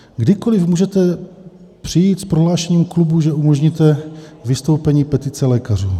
Kdykoliv můžete přijít s prohlášením klubu, že umožníte vystoupení petice lékařů.